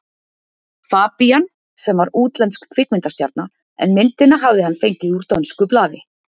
Fabían, sem var útlensk kvikmyndastjarna, en myndina hafði hann fengið úr dönsku blaði.